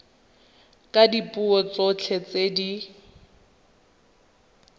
ka dipuo tsotlhe tse di